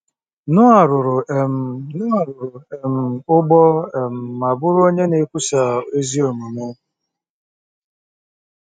Noa rụrụ um Noa rụrụ um ụgbọ um ma bụrụ “onye na-ekwusa ezi omume.”